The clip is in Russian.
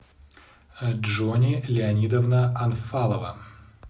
джонни леонидовна анфалова